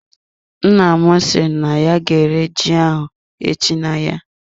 Nna m si na ya ga-ere ji ahụ echi na-ahịa.